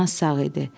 Çimnaz sağ idi.